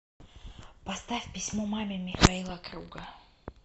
поставь письмо маме михаила круга